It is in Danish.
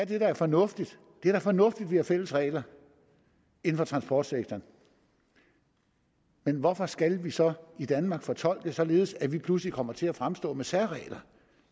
det der er fornuftigt det er da fornuftigt at der er fælles regler inden for transportsektoren men hvorfor skal de så i danmark fortolkes således at vi lige pludselig kommer til at fremstå med særregler